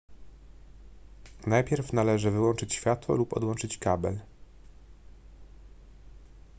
najpierw należy wyłączyć światło lub odłączyć kabel